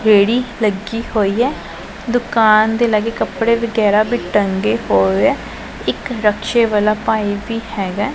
ਰੇੜੀ ਲੱਗੀ ਹੋਈ ਹੈ ਦੁਕਾਨ ਤੇ ਲਾਗੇ ਕੱਪੜੇ ਵਗੈਰਾ ਵੀ ਟੰਗੇ ਹੋਏ ਹੈ ਇਕ ਰਕਸ਼ੇ ਵਾਲਾ ਭਾਈ ਵੀ ਹੈਗਾ।